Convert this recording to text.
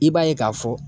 I b'a ye k'a fɔ